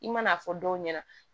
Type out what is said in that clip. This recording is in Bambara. I man'a fɔ dɔw ɲɛna